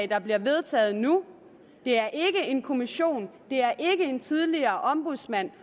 der bliver vedtaget nu det er ikke en kommission det er ikke en tidligere ombudsmand